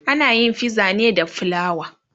anayin fiza ne da flawa